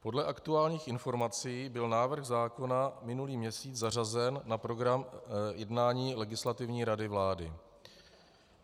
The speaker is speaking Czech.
Podle aktuálních informací byl návrh zákona minulý měsíc zařazen na program jednání Legislativní rady vlády.